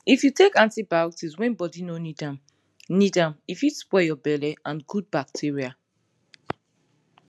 if you take antibiotics when body no need am need am e fit spoil your belle and good bacteria